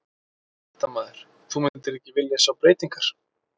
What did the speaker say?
Fréttamaður: Þú myndir ekki vilja sjá breytingar?